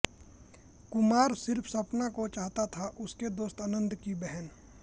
कुमार सिर्फ सपना को चाहता था उसके दोस्त आनंद की बहन